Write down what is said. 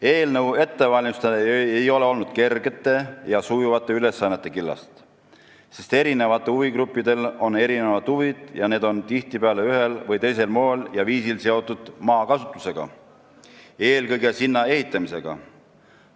Eelnõu ettevalmistamine ei ole olnud kergete ja sujuvate ülesannete killast, sest huvigruppidel on erinevad huvid, mis tihtipeale on ühel või teisel moel ja viisil seotud maakasutusega, eelkõige sinna ehitamisega.